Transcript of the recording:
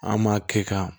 An m'a kɛ ka